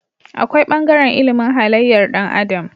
Akwai bangaren ilimin halayyar Dan adam